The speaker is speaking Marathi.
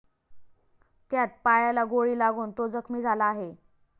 त्यात पायाला गोळी लागून तो जखमी झाला आहे.